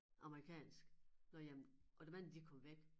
Amerikansk nåh jamen og dem anden de kom væk